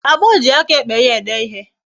Agbo ji aka ekpe ya ede ihe